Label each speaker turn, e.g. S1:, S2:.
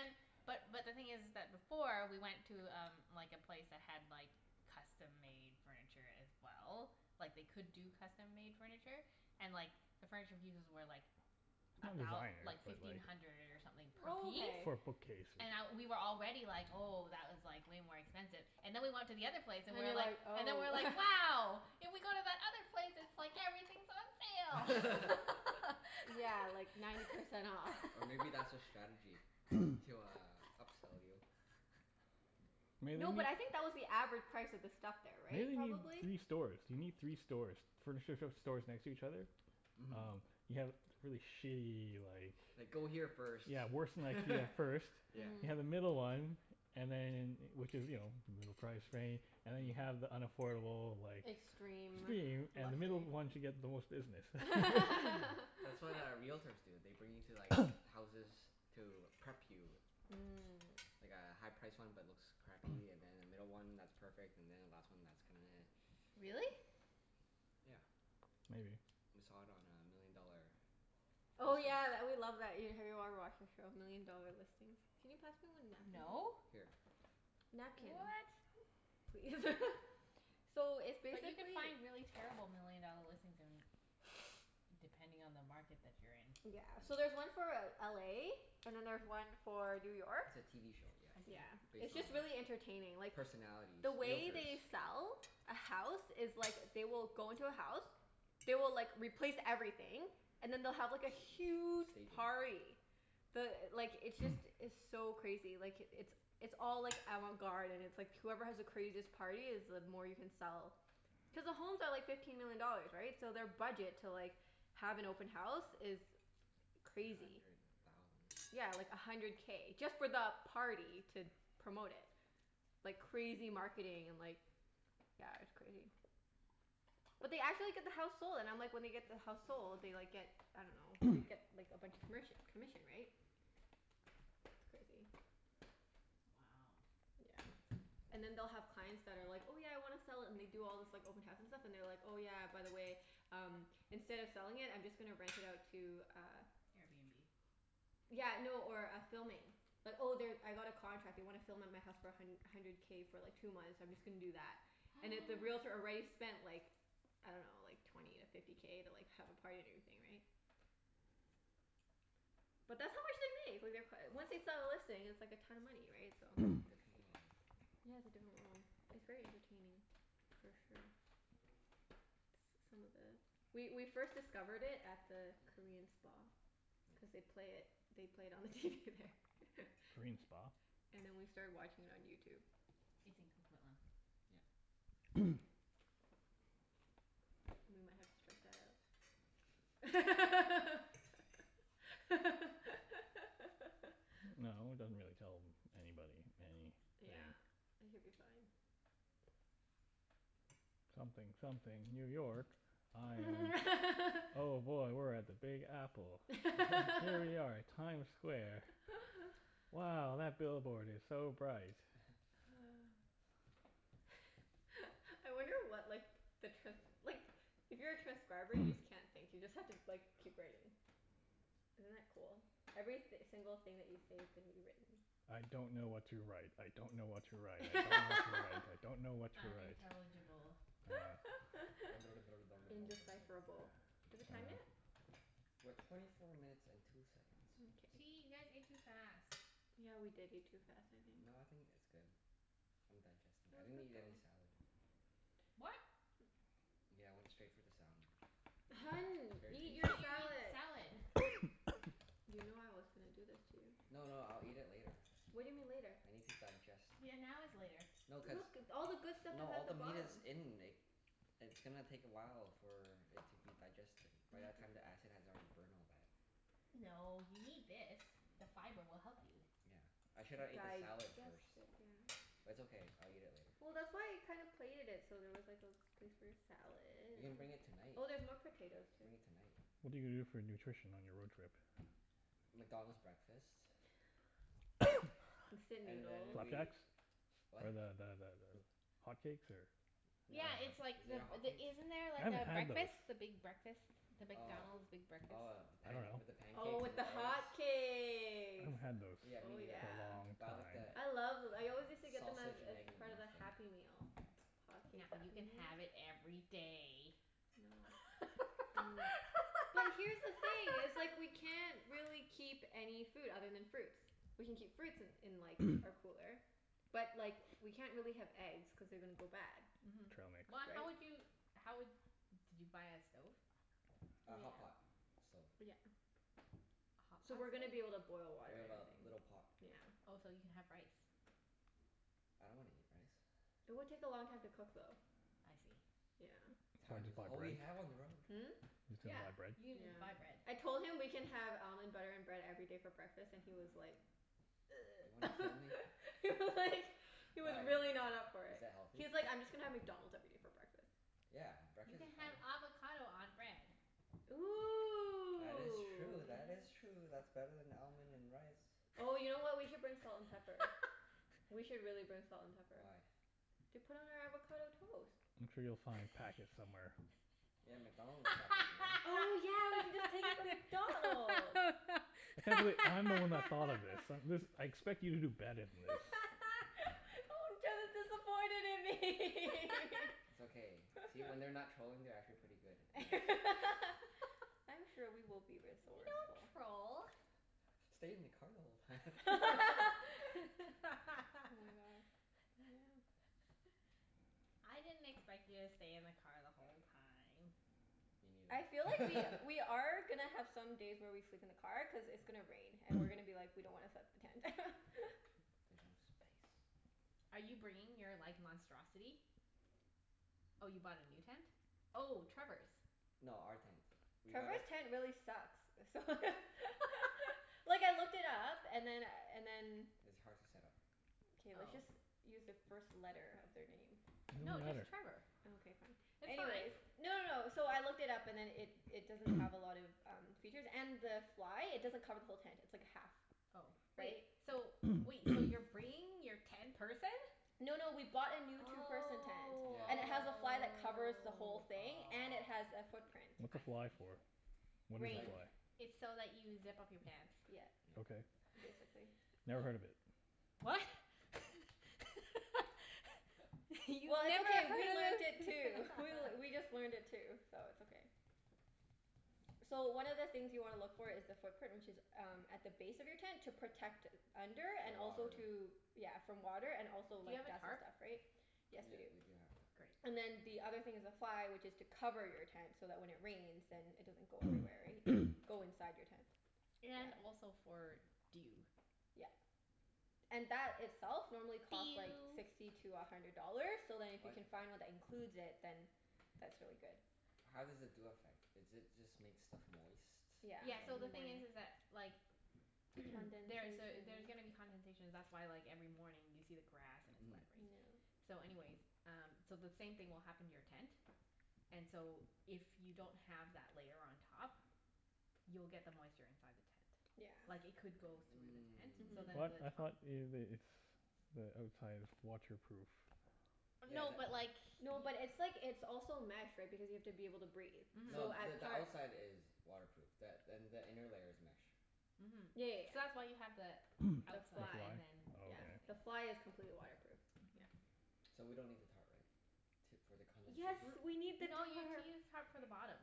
S1: then, but but the thing is is that before we went to um like a place that had like custom-made furniture as well. Like they could do custom-made furniture, and like the furniture pieces were like
S2: Not
S1: a thou-
S2: designer,
S1: like
S2: but like
S1: fifteen hundred or something
S3: Oh,
S1: per
S3: okay.
S2: For a
S1: piece.
S2: bookcase.
S1: And I, we were already like, "Oh, that was like way more expensive." And then we went to the other
S3: And you're
S1: place and
S3: like,
S1: we were
S3: "Oh."
S1: like and then we were like, "Wow!" If we go to that
S3: Yeah,
S1: other
S3: like ninety
S1: place
S3: percent off.
S4: Or
S1: it's
S4: maybe that's their
S1: like
S4: strategy
S1: everything's
S4: to uh
S1: on
S4: upsell you?
S1: sale.
S2: Maybe.
S3: No, but I think that was the average price of the stuff there, right?
S2: Maybe you need
S3: Probably?
S2: three stores? You need three stores. Furniture sh- stores next to each other?
S4: Mhm.
S2: Oh, you have really shitty like
S4: Like go here first,
S2: Yeah, worse than IKEA first.
S4: yeah.
S2: You
S3: Mhm.
S2: have the middle one And then, which is you know, middle price rain And then you have the unaffordable like
S3: Extreme.
S2: Extreme. And the middle
S3: Luxury.
S2: one to get the most business.
S4: That's what uh realtors do. They bring you to like houses to prep you.
S3: Mm.
S4: Like a high-priced one but looks crappy, and then a middle one that's perfect, and then a last one that's kind of
S1: Really?
S4: Yeah.
S2: Maybe.
S4: We saw it on uh Million Dollar
S3: Oh
S4: Listings.
S3: yeah, tha- we love that, have you ever watched that show? Million Dollar Listings. Can you pass me one napkin,
S1: No.
S3: please?
S4: Here.
S1: What?
S3: Napkin please. So, it's
S1: But you can
S3: basically
S1: find really terrible million dollar listings in, depending on the market that you're in.
S3: Yeah. So there's one for L- LA and then there's one for New York.
S4: It's a TV show, yeah.
S1: I
S3: Yeah.
S1: see.
S4: Based
S3: It's
S4: on
S3: just really entertaining.
S4: uh
S3: Like
S4: personalities.
S3: The way
S4: Realtors.
S3: they sell a house is like, they will go into a house. They will like, replace everything, and then they'll have like a huge
S4: Staging.
S3: party. The, like, it's just, it's so crazy. Like, it's it's all like avant-garde and it's like whoever has the craziest party is the more you can sell. Cuz the homes are like fifteen million dollars, right? So their budget to like, have an open house is
S4: A
S3: crazy.
S4: hundred thousand.
S3: Yeah, like a hundred K, just for the party to promote it. Like crazy marketing and like yeah, it's crazy. But they actually get the house sold, and I'm like, when they get the house sold they like get, I dunno, they get like a bunch of commerc- commission, right? It's crazy.
S1: Wow.
S3: Yeah. And then they'll have clients that are like, "Oh yeah, I wanna sell it," and they do all this like open house and stuff, and they're like, "Oh yeah, by the way, um instead of selling it I'm just gonna rent it out to uh"
S1: Airbnb?
S3: Yeah, no, or a filming. Like, "Oh they, I got a contract. They wanna film at my house for a hun- hundred K for like two months. I'm just gonna do that." And if the realtor already spent like, I dunno, like twenty to fifty K to like have a party and everything, right? But that's how much they make. Like they're c- once they sell a listing it's like a ton of money, right? So
S4: Different world.
S3: Yeah, it's a different world. It's very entertaining for sure. S- some of the, we we first discovered it at the Korean spa. Cuz
S4: Mhm, yes.
S3: they'd play it, they played it on the TV there.
S2: Korean spa?
S3: And then we started watching it on YouTube.
S1: It's in Coquitlam.
S4: Yep.
S3: We might have to strike that out.
S2: No, it doesn't really tell anybody any thing.
S3: Yeah. It could be fine.
S2: Something something New York. I'm, oh boy, we're at the Big Apple. H- here we are at Times Square. Wow, that billboard is so bright.
S3: I wonder what like the trans- like, if you're a transcriber you just can't think. You just have to like keep writing. Isn't that cool? Every th- single thing that you say is gonna be written.
S2: I don't know what to write. I don't know what to write. I don't know what to write. I don't know what to write.
S1: Unintelligible.
S3: Indecipherable. Is it time yet?
S4: We're twenty four minutes and two seconds.
S1: Gee,
S3: Mkay.
S1: you guys ate too fast.
S3: Yeah, we did eat too fast, I think.
S4: No, I think it's good. I'm digesting.
S3: That
S4: I
S3: was
S4: didn't
S3: quick
S4: eat any
S3: though.
S4: salad.
S1: What?
S4: Yeah, I went straight for the salmon. It was
S3: Hun,
S4: very
S3: eat
S4: tasty.
S3: your
S1: You need to
S3: salad.
S1: eat salad.
S3: You know I was gonna do this to you.
S4: No, no, I'll eat it later.
S3: What do you mean, later?
S4: I need to digest.
S1: Yeah, now is later.
S4: No
S3: Look.
S4: cuz,
S3: All the good stuff
S4: no
S3: is
S4: all
S3: at the
S4: the meat
S3: bottom.
S4: is in It's gonna take a while for it to be digested. By that time the acid has already burned all that.
S1: No, you need this. The fiber will help you.
S4: Yeah. I shoulda ate the salad
S3: Digest
S4: first.
S3: it, yeah.
S4: But it's okay. I'll eat it later.
S3: Well, that's why I kinda plated it so there was like a place for your salad.
S4: We can bring it tonight.
S3: Oh, there's more potatoes, too.
S4: Bring it tonight.
S2: What are you gonna do for nutrition on your road trip?
S4: McDonald's breakfast.
S3: Instant
S4: And then
S3: noodles.
S4: we,
S2: Flapjacks?
S4: what?
S2: Or the the the th- hotcakes or
S4: No.
S1: Yeah it's like,
S4: Is it a
S1: the the,
S4: hotcakes?
S1: isn't there a
S2: I haven't had those.
S1: breakfast? The big breakfast? The
S4: Oh.
S1: McDonald's big breakfast?
S4: Oh the
S2: I
S4: panc-
S2: dunno.
S4: with the
S3: Oh,
S4: pancakes
S3: with
S4: and the
S3: the
S4: eggs?
S2: I
S3: hotcakes.
S2: haven't had those for
S4: Yeah, me
S3: Oh
S4: neither.
S2: a
S3: yeah.
S2: long
S4: Buy like the
S2: time.
S3: I love th- I always used to get them as
S4: sausage and
S3: as
S4: egg
S3: part of the
S4: McMuffin.
S3: Happy Meal. Hotcakes
S1: Now you
S3: Happy
S1: can
S3: Meal.
S1: have it every day.
S3: No. Mm. But here's the thing, it's like we can't really keep any food other than fruits. We can keep fruits in in like, our cooler. But, like, we can't really have eggs cuz they're gonna go bad.
S1: Mhm.
S2: Trail mix.
S1: But
S3: Right?
S1: how would you, how would, did you buy a stove?
S4: A
S3: Yeah.
S4: hotpot stove.
S3: Yeah.
S1: A hot
S3: So
S1: pot
S3: we're gonna be able to
S1: stove?
S3: boil water
S4: We
S3: and
S4: have a
S3: everything.
S4: little pot.
S3: Yeah.
S1: Oh, so you can have rice.
S4: I don't wanna eat rice.
S3: It would take a long time to cook, though.
S1: I see.
S3: Yeah.
S2: You'll have
S4: Time
S2: to
S4: is
S2: buy
S4: all we
S2: bread.
S4: have on the road.
S3: Hmm?
S2: You still need
S1: Yeah,
S2: buy
S1: you
S2: bread.
S1: can
S3: Yeah.
S1: j- buy bread.
S3: I told him we can have almond butter and bread every day for breakfast and he was like
S4: You wanna kill me?
S3: He was like He was
S4: Why,
S3: really not up for
S4: is
S3: it.
S4: that healthy?
S3: He was like, "I'm just gonna have McDonald's every day for breakfast."
S4: Yeah,
S1: You
S4: breakfast
S1: can
S4: is fine.
S1: have avocado on bread.
S4: That
S3: Ooh,
S4: is true. That is true.
S3: yes.
S4: That's better than almond and rice.
S3: Oh you know what? We could bring salt and pepper. We should really bring salt and pepper.
S4: Why?
S3: To put on our avocado toast.
S2: I'm sure you'll find packets somewhere.
S4: Yeah, McDonald's packet, you know?
S3: Oh yeah, we can just take it from McDonald's.
S2: I can't believe I'm the one that thought of this. I- this, I expect you to do better than this.
S3: Oh, Jeff is disappointed in me.
S4: It's okay. See? When they're not trolling they're actually pretty good and nice.
S3: I'm sure we will be
S1: We
S3: resourceful.
S1: don't troll.
S4: "Stayed in the car the whole time."
S3: Oh my god, yeah.
S1: I didn't expect you to stay in the car the whole time.
S4: Me
S3: I feel like we
S4: neither.
S3: we are gonna have some days where we sleep in the car, cuz it's gonna rain and we're gonna be like, "We don't wanna set up the tent."
S4: There's no space.
S1: Are you bringing your like monstrosity? Oh, you bought a new tent? Oh, Trevor's.
S4: No, our tent. We gotta
S3: Trevor's tent really sucks. So Like, I looked it up and then and then
S4: It's hard to set up.
S3: K, let's just
S1: Oh.
S3: use the first
S1: No,
S3: letter of their name.
S1: just
S2: It don't matter.
S1: Trevor.
S3: Okay, fine.
S1: It's
S3: Anyways
S1: fine.
S3: No, no, no. So I looked it up and then it it doesn't have a lot of um features. And the fly, it doesn't cover the whole tent. It's like a half
S1: Oh. Wait,
S3: Right?
S1: so wait. So you're bringing your ten-person?
S3: No, no, we bought a new
S1: Oh.
S3: two-person tent. And it has a
S4: Yeah
S3: fly that covers the whole thing. And it has a footprint.
S2: What's a fly
S1: I see.
S2: for? What is a
S3: Rain.
S4: Tighten.
S2: fly?
S1: It's so that you zip up your pants.
S3: Yeah.
S4: Yep.
S2: Okay.
S3: Basically.
S2: Never heard of it.
S1: What? You've never
S3: Well, it's okay. We learnt it too. We
S1: heard
S3: just learned it too, so it's okay. So, one of the things you wanna look for is the footprint, which is um at the base of your tent to protect under, and
S4: The
S3: also
S4: water.
S3: to Yeah, from water and also
S1: Do you
S3: like
S1: have a
S3: dust and
S1: tarp?
S3: stuff, right? Yes, we do.
S4: Yep, we do have a tarp.
S1: Great.
S3: And then the other thing is the fly which is to cover your tent, so that when it rains then it doesn't go everywhere, right? Go inside your tent.
S1: And
S3: Yeah.
S1: also for dew.
S3: Yeah. And that itself normally costs like
S1: Dew.
S3: sixty to a hundred dollars, so then if you
S4: What?
S3: can find one that includes it, then that's really good.
S4: How does the dew affect? Is it just make stuff moist from
S3: Yeah,
S1: Yeah, so
S3: in the
S1: the thing is
S3: morning.
S1: is that like there's a,
S3: Condensation.
S1: there's gonna be condensation. That's why like every morning you see the grass and it's
S4: Mhm.
S1: wet, right?
S3: Yeah.
S1: So anyways, um so the same thing will happen to your tent and so if you don't have that layer on top you'll get the moisture inside the tent.
S3: Yeah.
S1: Like it could go though the tent so
S2: What?
S3: Mhm.
S1: then
S2: I
S1: the
S2: thought
S1: top
S4: Mm.
S2: ev- it's the outside is waterproof.
S1: No, but
S4: Yeah,
S1: like
S4: that th-
S3: No, but it's like, it's also mesh right, because you have to be able to breathe. So
S4: No,
S1: Mhm.
S4: the
S3: at
S4: the
S3: parts
S4: outside is waterproof, th- and the inner layer is mesh.
S1: Mhm.
S3: Yeah, yeah,
S1: So
S3: yeah.
S1: that's why you have the
S3: The
S2: The
S1: outside
S2: fly?
S3: fly.
S1: and then
S3: Yeah.
S1: this
S2: Oh,
S3: The
S2: okay.
S1: thing.
S3: fly is completely waterproof. Yeah.
S1: Mhm.
S4: So we don't need the tarp, right? T- for the
S3: Yes,
S4: condensation?
S3: we need the
S1: N- no you need to
S3: tarp.
S1: use tarp for the bottom.